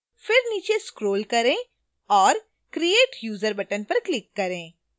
फिर नीचे scroll करें और create user button पर click करें